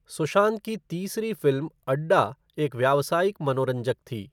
सुशांत की तीसरी फ़िल्म अड्डा एक व्यावसायिक मनोरंजक थी।